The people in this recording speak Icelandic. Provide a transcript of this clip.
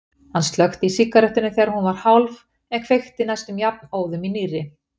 Hann slökkti í sígarettunni þegar hún var hálf en kveikti næstum jafnóðum í nýrri.